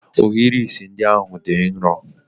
Ohiri isi ndị ahụ dị nro?